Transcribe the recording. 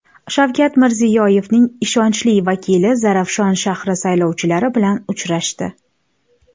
Shavkat Mirziyoyevning ishonchli vakili Zarafshon shahri saylovchilari bilan uchrashdi.